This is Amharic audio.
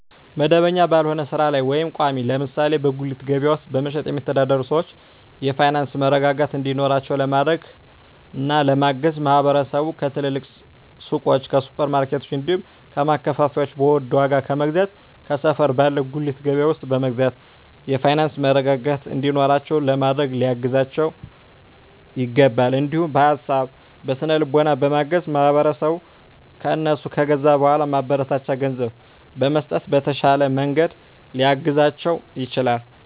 መደበኛ ባልሆነ ስራ ላይ ወይም ቋሚ (ለምሳሌ በጉሊት ገበያ ውስጥ በመሸጥ የሚተዳደሩ ሰዎችን የፋይናንስ መረጋጋት እንዲኖራቸው ለማድረግና ለማገዝ ማህበረሰቡ ከትልልቅ ሱቆች፣ ከሱፐር ማርኬቶች፣ እንዲሁም ከማከፋፈያዎች በውድ ዋጋ ከመግዛት ከሰፈር ባለ ጉሊት ገበያ ውስጥ በመግዛት የፋይናንስ መረጋጋት እንዲኖራቸው ለማድረግ ሊያግዛቸው ይችላል። እንዲሁም በሀሳብ በስነ ልቦና በማገዝ ማህበረሰቡ ከእነሱ ከገዛ በኃላ ማበረታቻ ገንዘብ በመስጠት በተሻለ መንገድ ሊያግዛቸው ይችላል።